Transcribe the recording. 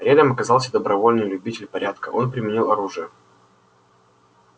рядом оказался добровольный любитель порядка он применил оружие